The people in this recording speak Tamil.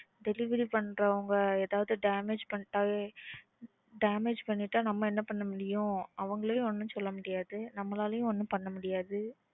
Delivery பண்றவங்க ஏதாவது damage பண்ணிட்டா damage பண்ணிட்டா நம்ம என்ன பண்ண முடியும்? அவங்களயும் ஒன்னும் சொல்ல முடியாது நம்மலாளையும் ஒன்னும் பண்ண முடியாது.